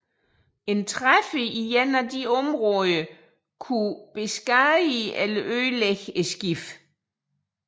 En træffer i et af disse områder kunne beskadige eller ødelægge skibet